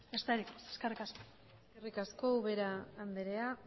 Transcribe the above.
besterik ez eskerrik asko eskerrik asko ubera andrea